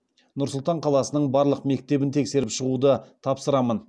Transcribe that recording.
нұр сұлтан қаласының барлық мектебін тексеріп шығуды тапсырамын